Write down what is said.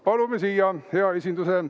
Palume siia hea esinduse.